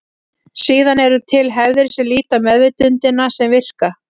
Síðan eru til hefðir sem líta á meðvitundina sem virka.